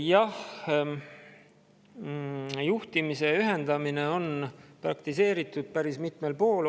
Jah, juhtimise ühendamist on praktiseeritud päris mitmel pool.